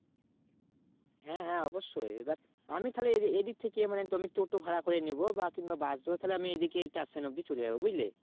হ্যাঁ হ্যাঁ অবশ্যই এবার আমি তাহলে এদিক থেকে মানে toto ভাড়া করে নেব কিংবা Bus ধরে তাহলে আমি এদিকে টেন অব্দি চলে যাও বুঝলে